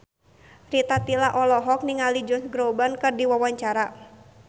Rita Tila olohok ningali Josh Groban keur diwawancara